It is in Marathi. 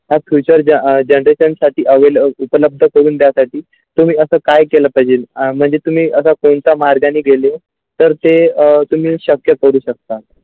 आता future जे generation available होते तो पण उपलब्ध करून त्यासाठी तुम्ही आता काय केले पाहिजे म्हणजे तुम्ही अशा कोणता मार्गाने गेले तर ते अ तुम्ही शक्य करू शकतात.